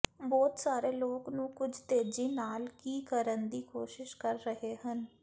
ਬਹੁਤ ਸਾਰੇ ਲੋਕ ਨੂੰ ਕੁਝ ਤੇਜ਼ੀ ਨਾਲ ਕੀ ਕਰਨ ਦੀ ਕੋਸ਼ਿਸ਼ ਕਰ ਰਹੇ ਹਨ